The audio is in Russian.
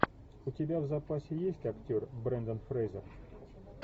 у тебя в запасе есть актер брендан фрейзер